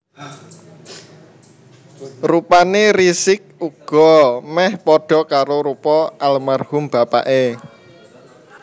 Rupane Rizieq uga meh padha karo rupa almarhum bapake